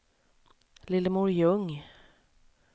Lillemor Ljung